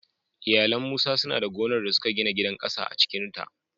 Iyalan Musa suna da gonar da suka gina gidan ƙasa cikin ta